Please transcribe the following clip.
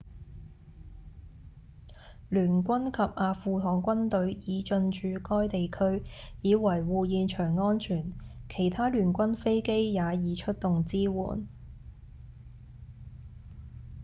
聯軍及阿富汗軍隊已進駐該地區以維護現場安全其他聯軍飛機也已出動支援